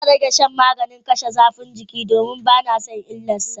Zan rage shan maganin kashe zafin jiki, domin bana son illar sa.